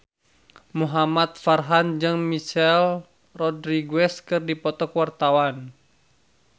Muhamad Farhan jeung Michelle Rodriguez keur dipoto ku wartawan